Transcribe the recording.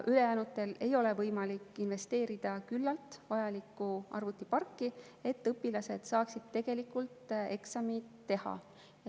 Ülejäänutel ei ole võimalik küllalt investeerida vajalikku arvutiparki, et õpilased saaksid eksameid teha.